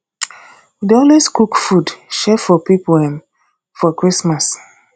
we dey always cook food share for pipo um for christmas